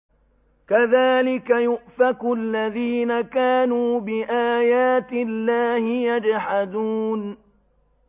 كَذَٰلِكَ يُؤْفَكُ الَّذِينَ كَانُوا بِآيَاتِ اللَّهِ يَجْحَدُونَ